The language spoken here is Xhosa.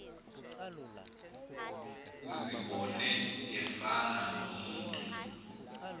uzibone efana nomntu